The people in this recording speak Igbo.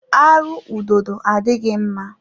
Arụ ududo adịghị mma.